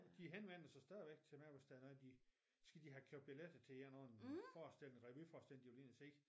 De henvender sig stadigvæk til mig hvis der er noget de de skal have købt billetter til en forestilling revyforestilling de vil ind og se